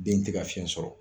Den tɛ ka fiyɛn sɔrɔ.